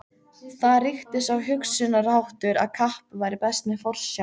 Þar ríkti sá hugsunarháttur, að kapp væri best með forsjá.